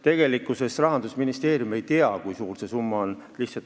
Tegelikkuses Rahandusministeerium ei tea, kui suur see summa on.